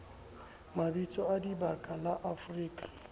mabitso a dibaka la afrika